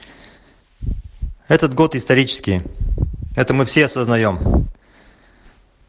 этот год исторический это мы все осознаем